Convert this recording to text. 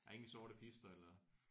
Der er ingen sorte pister eller?